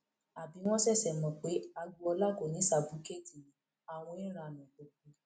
àbí wọn ṣẹṣẹ mọ pé agboola kò ní ṣàbùkẹẹtì ni àwọn ẹńránú gbogbo